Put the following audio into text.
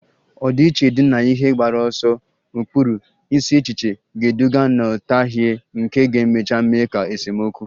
Ọdịiche dị na ihe mgbaru ọsọ, ụkpụrụ, isi echiche ga-eduga nghọtahie nke ga-emecha mee ka esemokwu